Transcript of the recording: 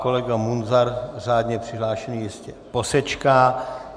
Kolega Munzar, řádně přihlášený jistě posečká.